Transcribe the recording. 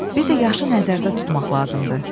Bir də yaşı nəzərdə tutmaq lazımdır.